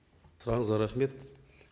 сұрағыңызға рахмет